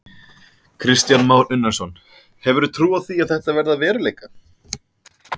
Kristján Már Unnarsson: Hefurðu trú á því að þetta verði að veruleika?